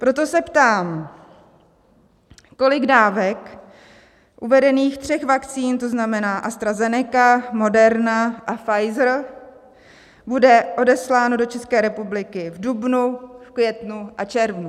Proto se ptám, kolik dávek uvedených tří vakcín, to znamená AstraZeneca, Moderna a Pfizer, bude odesláno do České republiky v dubnu, v květnu a červnu.